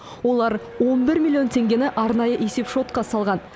олар он бір миллион теңгені арнайы есепшотқа салған